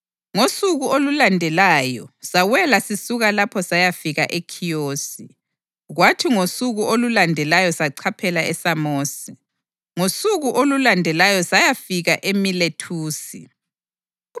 Ngosuku olulandelayo sawela sisuka lapho sayafika eKhiyosi. Kwathi ngosuku olulandelayo sachaphela eSamosi, ngosuku olulandelayo sayafika eMilethusi.